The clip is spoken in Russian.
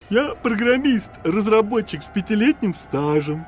я программист-разработчик с пятилетним стажем